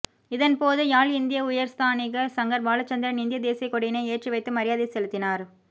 இதன்போது யாழ் இந்திய உயர்ஸ்தானிகர் சங்கர் பாலச்சந்திரன் இந்திய தேசியக்கொடியினை ஏற்றிவைத்து மரியாதை செலுத்தினார்